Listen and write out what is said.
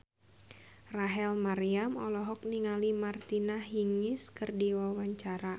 Rachel Maryam olohok ningali Martina Hingis keur diwawancara